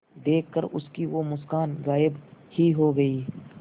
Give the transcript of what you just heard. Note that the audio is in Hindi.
देखकर उसकी वो मुस्कान गायब ही हो गयी